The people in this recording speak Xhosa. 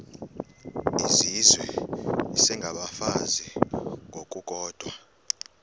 izizwe isengabafazi ngokukodwa